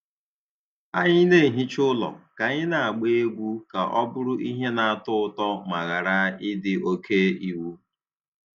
Anyị na-ehicha ụlọ ka anyị na-agba egwu ka ọ bụrụ ihe na-atọ ụtọ ma ghara ịdị oke iwu.